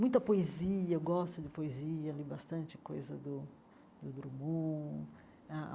Muita poesia, eu gosto de poesia, li bastante coisa do do Drummond.